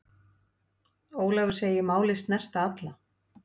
Ólafur segir málið snerta alla.